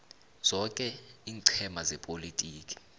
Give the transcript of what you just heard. zoke iinqhema zepolotiki